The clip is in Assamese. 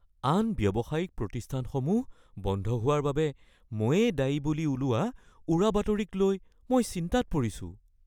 আন ব্যৱসায়িক প্ৰতিষ্ঠানসমূহ বন্ধ হোৱাৰ বাবে ময়েই দায়ী বুলি ওলোৱা উৰাবাতৰিক লৈ মই চিন্তাত পৰিছোঁ।